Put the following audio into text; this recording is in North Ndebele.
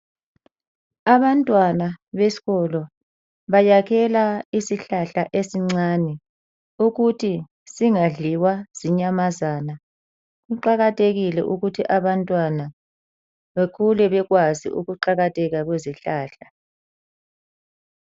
Abantwana besikolo bayakhela isihlahla esincane. Ukuthi singadliwa zinyamazana. Kuqakathekile ukuthi abantwana bekhule bekwazi kuqakatheka kwezihlahla.